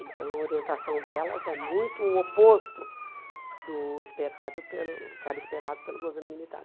Então a orientação delas é muito o oposto do esperado pelo do que era esperado pelo governo militar.